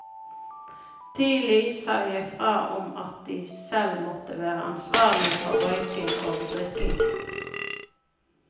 Tidlig sa jeg fra om at de selv må være ansvarlige for røyking og drikking.